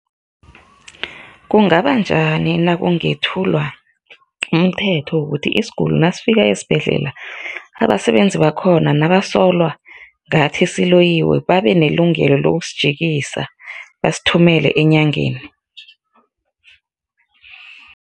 Kungaba njani nakungathulwa umthetho wokuthi isiguli nasifika esibhedlela abasebenzi bakhona nabasola ngathi siloyiwe babe nelungelo lokusijikisa, basithumele enyangeni?